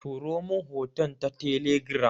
Turomin hoton ta telegiram